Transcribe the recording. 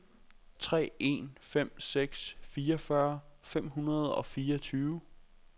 tre en fem seks fireogfyrre fem hundrede og fireogtyve